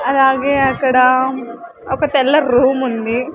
అలాగే అక్కడ ఒక తెల్ల రూమ్ ఉంది.